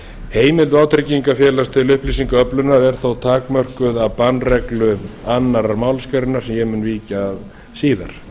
heimild vátryggingafélag til upplýsingaöflunar er þó takmörkuð af bannreglu annarri málsgrein sem ég mun víkja að síðar